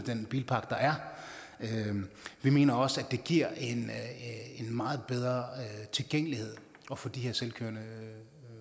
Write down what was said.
den bilpark der er vi mener også at det giver en meget bedre tilgængelighed at få de her selvkørende